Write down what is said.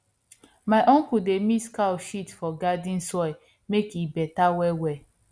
my uncle dey mix cow shit for garden soil make e better wellwell